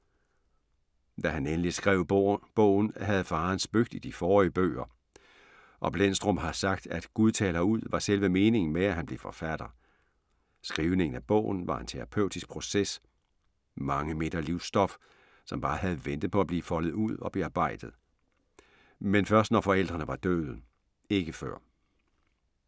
Da han endelig skrev bogen havde faren spøgt i de forrige bøger og Blendstrup har sagt, at "Gud taler ud" var selve meningen med, at han blev forfatter. Skrivningen af bogen var en terapeutisk proces. Mange meter livsstof, som bare havde ventet på at blive foldet ud og bearbejdet. Men først når forældrene var døde, ikke før.